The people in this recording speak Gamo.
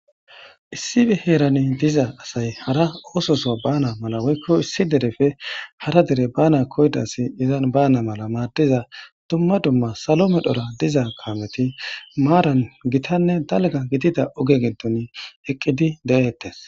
Issibi heerani diza asay hara ooso so baana mala woykko issi derefe hara dere baana koyid asi izan baana mala maaddiza dumma dumma salo medhora diza kaameti maaran gitanne dalgga gidida oge giddoni eqqidi de7eettes.